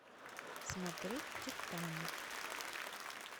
смотреть титаник